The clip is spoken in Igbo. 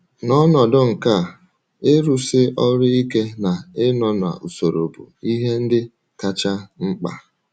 N’ọnọdụ nke a, ịrụsi ọrụ ike na ịnọ n’usoro bụ ihe ndị kacha mkpa.